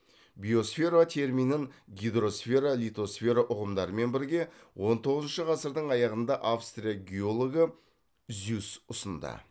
биосфера терминін гидросфера литосфера ұғымдарымен бірге он тоғызыншы ғасырдың аяғында австрия геологы зюсс ұсынды